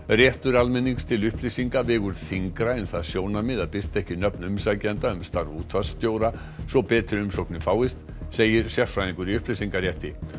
réttur almennings til upplýsinga vegur þyngra en það sjónarmið að birta ekki nöfn umsækjenda um starf útvarpsstjóra svo betri umsóknir fáist segir sérfræðingur í upplýsingarétti